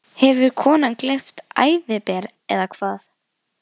Hefur konan gleypt æðiber, eða hvað?